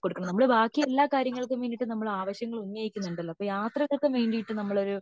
കൊടുക്കും നമ്മൾ ബാക്കി എല്ലാ കാര്യങ്ങൾക്കും വേണ്ടിയിട്ട് ആവശ്യങ്ങൾ ഉന്നയിക്കുന്നുണ്ടല്ലോ അപ്പൊ യാത്രകൾക്ക് വേണ്ടിയിട്ടും നമ്മൾ ഒരു